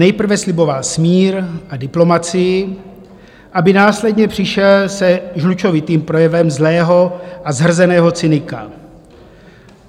Nejprve sliboval smír a diplomacii, aby následně přišel se žlučovitým projevem zlého a zhrzeného cynika.